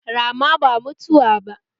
Rama ba mutuwa ba